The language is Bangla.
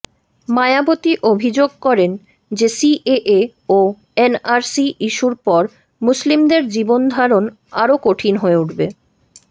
মায়াবতী অভিযোগ করেন যে সিএএ ও এনআরসি ইস্যুর পর মুসলিমদের জীবনধারণ আরও কঠিন হয়ে উঠবে